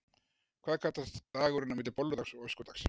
Hvað kallast dagurinn á milli bolludags og öskudags?